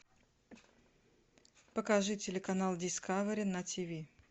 покажи телеканал дискавери на тв